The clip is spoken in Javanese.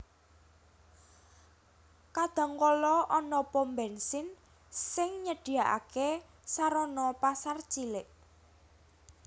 Kadang kala ana pom bènsin sing nyedhiyakaké sarana pasar cilik